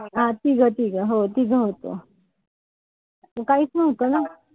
हा तिघ-तिघ. हो तीघं होतो. काहीच नव्हतं ना.